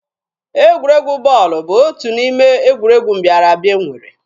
Egwuregwu bọọlụ bụ otu n'ime egwuregwu mbịara abịa e nwere.